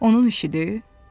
Onun işidir?